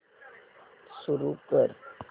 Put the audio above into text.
सुरू कर